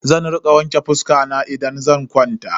Zan rika wanke fuska na idan zan kwanta.